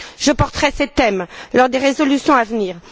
Je porterai ces thèmes lors des résolutions à venir.